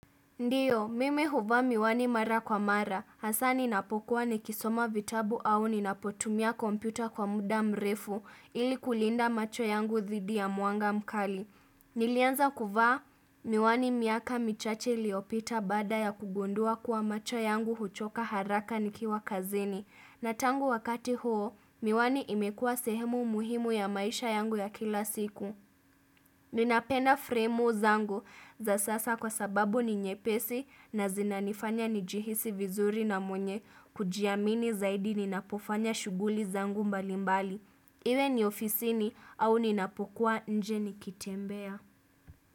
Ndiyo, mimi huvaa miwani mara kwa mara, hasa ninapokuwa ni kisoma vitabu au ninapotumia kompyuta kwa muda mrefu ili kulinda macho yangu dhidi ya mwanga mkali. Nilianza kuvaa miwani miaka michache iliopita baada ya kugundua kuwa macho yangu huchoka haraka nikiwa kazini. Natangu wakati huo, miwani imekua sehemu muhimu ya maisha yangu ya kila siku. Ninapenda fremu zangu za sasa kwa sababu ni nyepesi na zinanifanya ni jihisi vizuri na mwenye kujiamini zaidi ninapofanya shughuli zangu mbalimbali. Iwe ni ofisini au ninapokuwa nje ni kitembea.